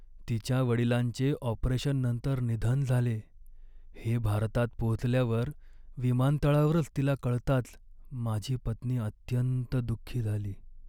तिच्या वडिलांचे ऑपरेशननंतर निधन झाले हे भारतात पोचल्यावर विमानतळावरच तिला कळताच माझी पत्नी अत्यंत दुःखी झाली.